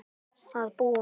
Að búa?